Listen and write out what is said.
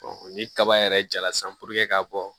ni kaba yɛrɛ jala san ka bɔ